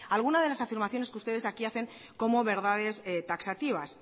algunas de las afirmaciones que ustedes aquí hacen como verdades taxativas